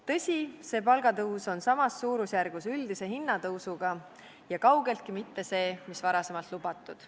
Tõsi, see palgatõus on samas suurusjärgus üldise hinnatõusuga ja kaugeltki mitte see, mis varasemalt lubatud.